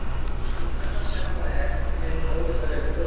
Því hærra sem það er þeim mun ólíkari eru tölurnar.